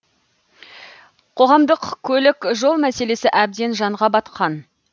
қоғамдық көлік жол мәселесі әбден жанға батқан